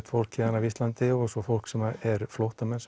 fólk héðan af Íslandi og svo fólk sem eru flóttamenn